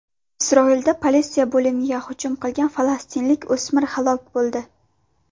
Isroilda politsiya bo‘limiga hujum qilgan falastinlik o‘smir halok bo‘ldi.